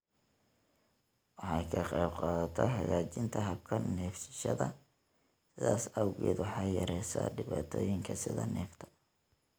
Waxay ka qaybqaadataa hagaajinta habka neefsashada, sidaas awgeed waxay yareysaa dhibaatooyinka sida neefta.